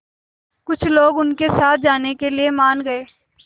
कुछ लोग उनके साथ जाने के लिए मान गए